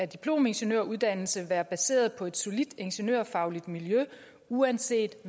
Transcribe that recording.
diplomingeniøruddannelse være baseret på et solidt ingeniørfagligt miljø uanset